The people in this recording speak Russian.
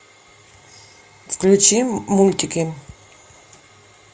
включи мультики